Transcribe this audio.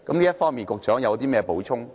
這方面，局長有甚麼補充？